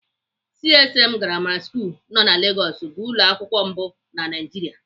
CMS grammar school nọ na Lagos bụ ụlọakwụkwọ mbụ na Naịjiria.